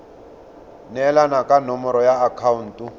neelana ka nomoro ya akhaonto